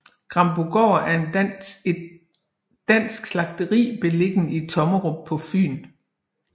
Grambogård er et dansk slagteri beliggende i Tommerup på Fyn